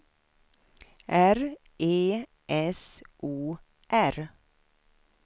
R E S O R